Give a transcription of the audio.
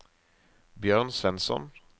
Bjørn Svensson